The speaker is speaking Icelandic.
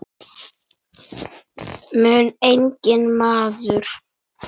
mun engi maður